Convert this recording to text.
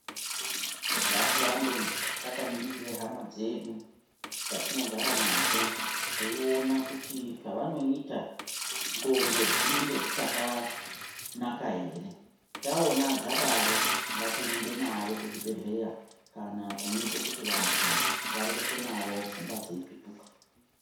Ngatirambe takaningira hama dzedu dzatinogara nadzo teiona kuti zvavanoita ngonxo dzinenge dzichakanaka ere taona zvadaro ngatirumbe nawo kuzvibhedhlera vantu vareketwe Navo pfungwa dzeipetuke.